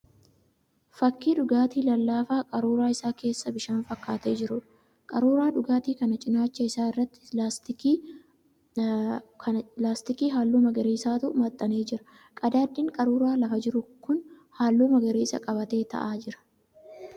Fakkii dhugaatii lallaafaa qaruuraa isaa keessaa bishaan fakkaatee jiruudha. Qaruuraa dhugaatii kanaa cinaacha isaa irratti laastikii halluu magariisaatu maxxanee jira. Qadaaddiin qaruuraa lafa jiru kun halluu magariisa qabatee ta'aa jira.